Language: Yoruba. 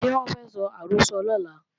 Ṣé wọ́n fẹ́ sọ àrọ́sọ lọ́la?